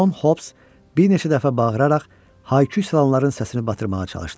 Con Hobbs bir neçə dəfə bağıraraq haykü salanların səsini batırmağa çalışdı.